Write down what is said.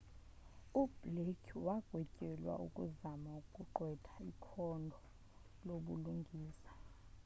ublake wagwetyelwa ukuzama ukugqwetha ikhondo lobulungisa